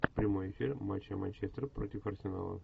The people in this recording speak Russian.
прямой эфир матча манчестер против арсенала